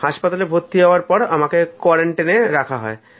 হাসপাতালে ভর্তি হওয়ার পর আমাকে কোয়ারেন্টাইনে রাখা হয়